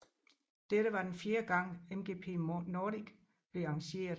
Dette var den fjerde gang MGP Nordic blev arrangeret